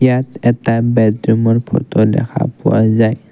ইয়াত এটা বেডৰুমৰ ফটো দেখা পোৱা যায়।